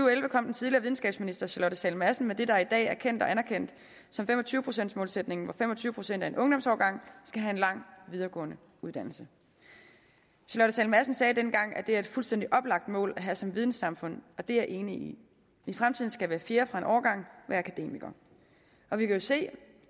og elleve kom den tidligere videnskabsminister charlotte sahl madsen med det der i dag er kendt og anerkendt som fem og tyve procents målsætningen hvor fem og tyve procent af en ungdomsårgang skal have en lang videregående uddannelse charlotte sahl madsen sagde dengang at det er et fuldstændig oplagt mål at have som vidensamfund og det er jeg enig i i fremtiden skal hver fjerde fra en årgang være akademiker vi kan jo se